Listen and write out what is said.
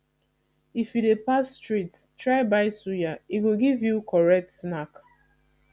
if you dey pass street try buy suya e go give you correct snack